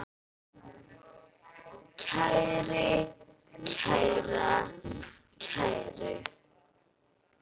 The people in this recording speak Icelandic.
kæri, kæra, kæru